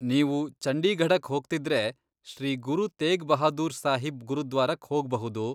ನೀವು ಚಂಡೀಗಢಕ್ ಹೋಗ್ತಿದ್ರೆ, ಶ್ರೀ ಗುರು ತೇಗ್ ಬಹಾದೂರ್ ಸಾಹಿಬ್ ಗುರುದ್ವಾರಕ್ ಹೋಗ್ಬಹುದು.